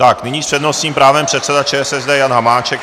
Tak nyní s přednostním právem předseda ČSSD Jan Hamáček.